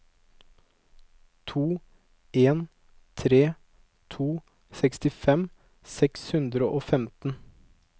to en tre to sekstifem seks hundre og femten